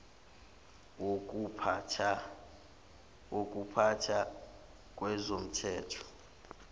wokupha tha kwezomthetho